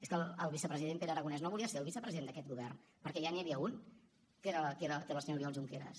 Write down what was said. és que el vicepresident pere aragonès no volia ser el vicepresident d’aquest govern perquè ja n’hi havia un que era el senyor oriol junqueras